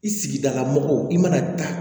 I sigidala mɔgɔw i mana taa